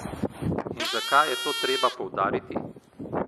In zakaj je to treba poudariti?